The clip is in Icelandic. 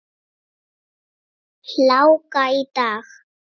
Hláka í dag.